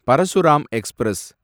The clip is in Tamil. பரசுராம் எக்ஸ்பிரஸ்